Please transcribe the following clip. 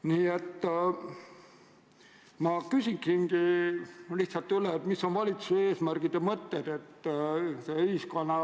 Kindlasti see on ühiskonnale tõsine sotsiaalne väljakutse, et inimesed saaksid nii palju kui võimalik toetusmeetmete, sealhulgas tugisüsteemide abil oma kuulmist parandada, kui see on võimalik.